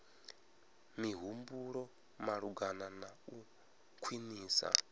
mihumbulo malugana na u khwinisa